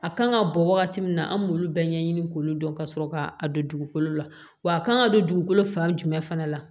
A kan ka bɔ wagati min na an b'olu bɛɛ ɲɛɲini k'olu dɔn ka sɔrɔ ka a don dugukolo la wa a kan ka don dugukolo fan jumɛn fana la